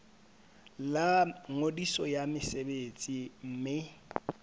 la ngodiso ya mosebetsi mme